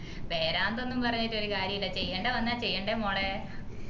പേരാന്തോന്നും പറഞ്ഞിട്ടൊരുകാരിയുല്ല ചെയ്യേണ്ട വന്ന ചെയ്യേണ്ടേ മോളെ